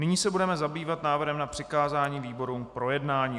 Nyní se budeme zabývat návrhem na přikázání výborům k projednání.